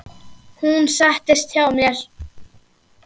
Hún settist hjá mér.